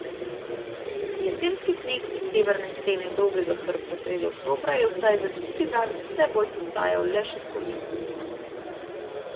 Jesenski sneg iz severne stene Dolgega hrbta sredi oktobra je vsaj za tisti dan vse bolj postajal le še spomin.